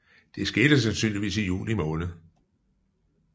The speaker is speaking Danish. Det skete sandsynligvis i juli måned